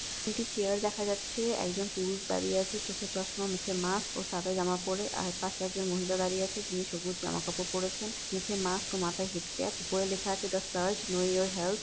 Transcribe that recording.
দুটি চেয়ার দেখা যাচ্ছে একজন পুরুষ দাঁড়িয়ে আছে চোখে চশমা মুখে মাক্স ও সাদা জামা পরে আর তার পাশে একজন মহিলা দাঁড়িয়ে আছে তিনি সবুজ জামা কাপড় পরেছেন মুখে মাক্স মাথায় হেড ক্যাপ লেখা আছে the search know your health.